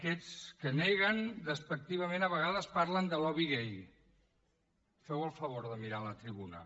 aquests que neguen despectivament a vegades parlen de lobby gai feu el favor de mirar a la tribuna